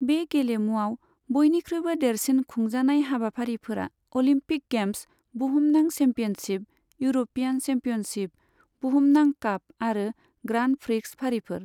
बे गेलेमुआव बयनिख्रुयबो देरसिन खुंजानाय हाबाफारिफोरा अलिम्पिक गेम्स, बुहुमनां चेम्पियनशिप, इउर'पीयान चेम्पियनशिप, बुहुमनां काप आरो ग्रान्ड प्रिक्स फारिफोर।